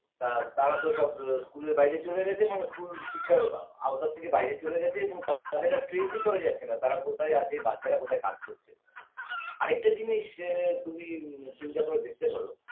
আর তারা তো সব school -এর বাইরে চলে গেছে মানে school শিক্ষার আওতা থেকে বাইরে চলে গেছে এবং তাদের আর trace করা যাচ্ছেনা তারা কোথায় আছে বাচ্চারা কোথায় কাজ করছে আরেকটা জিনিস আ তুমি চিন্তা করে দেখতে পারো